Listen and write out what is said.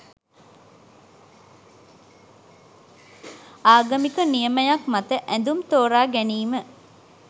ආගමික නියමයක් මත ඇඳුම් තෝරා ගැනීම